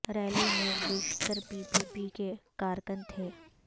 rally میں بیشتر P P P کے کارکن تھے